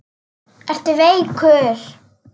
Ertu veikur?